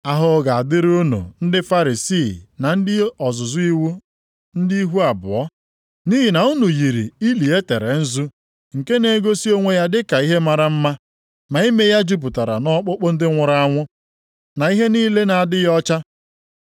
“Ahụhụ ga-adịrị unu ndị Farisii na ndị ozizi iwu, ndị ihu abụọ! Nʼihi na unu yiri ili e tere nzu, nke na-egosi onwe ya dị ka ihe mara mma, ma ime ya jupụtara nʼọkpụkpụ ndị nwụrụ anwụ, na ihe niile na-adịghị ọcha.